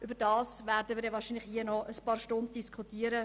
Denn darüber werden wir hier wohl noch ein paar Stunden lang diskutieren.